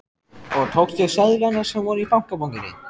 Og tókstu seðlana sem voru í bankabókinni?